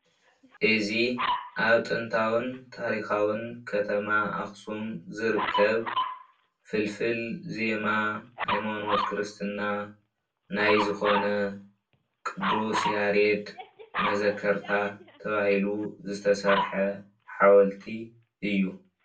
እዚ ኣብ ጥንታውን ታሪካውን ከተማ ኣክሱም ዝርከብ ፍልፍል ዜማ ሃይማኖት ክርስትና ናይ ዝኮነ ቅዱስ ያሬድ መዘከርታ ተባሂሉ ዝተሰርሐ ሓወልቲ እዩ።